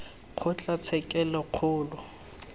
kgotlatshekelokgolo